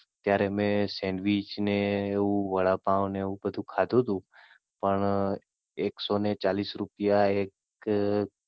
ત્યારે મેં Sandwich ને એવું, વડાપાવ ને એવું બધું ખાધું હતું. પણ એક સો ને ચાલીસ રૂપિયા એક